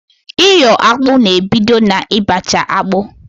Iyo akpụ na ebido na ị bacha akpụ